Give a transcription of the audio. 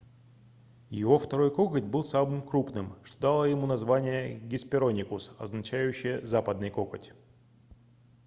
его второй коготь был самым крупным что дало ему название hesperonychus означающее западный коготь